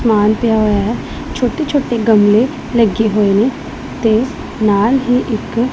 ਸਮਾਨ ਪਿਆ ਹੋਇਆ ਹੈ ਛੋਟੇ ਛੋਟੇ ਗਮਲੇ ਲੱਗੇ ਹੋਏ ਨੇ ਤੇ ਨਾਲ ਹੀ ਇੱਕ--